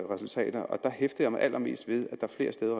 resultater hæftede jeg mig allermest ved at der flere steder